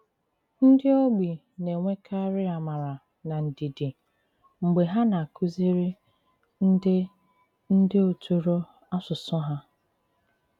Ndị ogbi na-enwèkàrị àmàrà na ndìdì mg̀bè ha na-àkùzìrì ndị ndị òtùrò àsùsù ha.